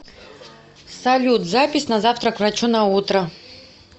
салют запись на завтра к врачу на утро